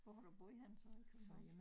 Hvor har du boet henne så i København?